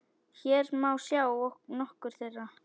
Hér má sjá nokkur þeirra.